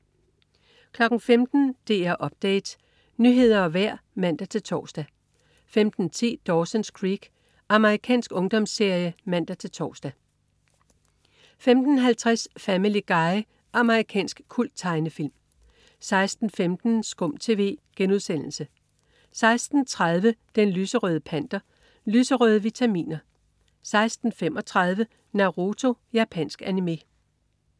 15.00 DR Update. Nyheder og vejr (man-tors) 15.10 Dawson's Creek. Amerikansk ungdomsserie (man-tors) 15.50 Family Guy. Amerikansk kulttegnefilm 16.15 SKUM TV* 16.30 Den lyserøde Panter. Lyserøde vitaminer 16.35 Naruto. Japansk animé